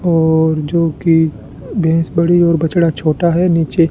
और जोकि भैंस बड़ी और बछड़ा छोटा है नीचे--